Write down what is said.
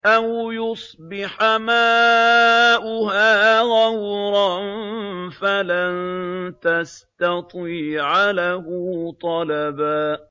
أَوْ يُصْبِحَ مَاؤُهَا غَوْرًا فَلَن تَسْتَطِيعَ لَهُ طَلَبًا